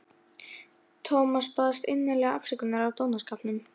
Thomas baðst innilega afsökunar á dónaskapnum.